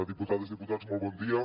diputades diputats molt bon dia